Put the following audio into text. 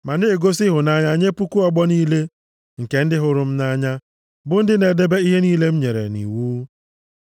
Ma na egosi ịhụnanya nye puku ọgbọ niile nke ndị hụrụ m nʼanya, bụ ndị na-edebe ihe niile m nyere nʼiwu.